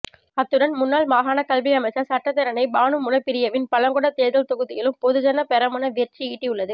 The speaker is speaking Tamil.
அத்துடன் முன்னால் மகாண கல்வி அமைச்சர் சட்டத்தரணை பானு முனப்பிரியவின் பலங்கொட தேர்தல் தொகுதியிலும் பொதுஜன பெரமுன வெற்றியீட்டியுள்ளது